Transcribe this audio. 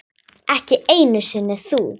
Ekki einu sinni þú.